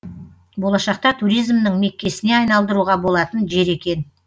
болашақта туризмнің меккесіне айналдыруға болатын жер екен